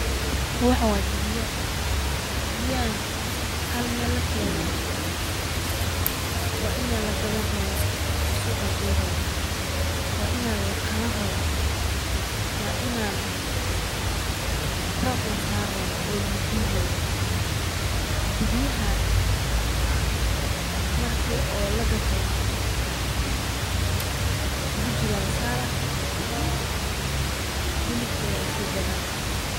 Waxan waa dibiya, dibiyahan hal Mel lakeene waa ina laa gadan rabo oo suq lageyni rabo waa ina la qalan rabo, waa ina rar lasaari rabo oo lugu guuri rabo, dibiyaha markii oo la gato bujir aa lasaraa hilibkod aa lasi gadana